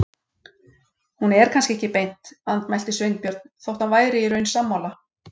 Hún er kannski ekki beint. andmælti Sveinbjörn, þótt hann væri í raun sammála.